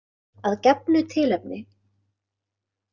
Að gefnu tilefni.